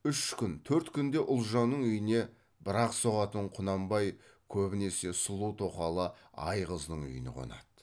үш күн төрт күнде ұлжанның үйіне бір ақ соғатын құнанбай көбінесе сұлу тоқалы айғыздың үйіне қонады